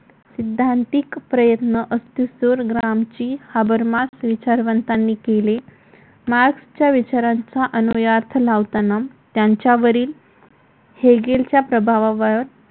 सिद्धांतिक प्रयत्न Althusser Gramsci Habermas विचारवंतांनी केले मार्क्सच्या विचारांचा अनुयार्थ लावताना त्यांच्यावरील हेगीलच्या प्रभावावर